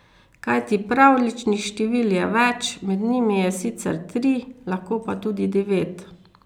Kajti pravljičnih števil je več, med njimi je sicer tri, lahko pa tudi devet...